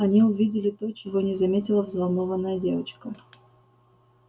они увидели то чего не заметила взволнованная девочка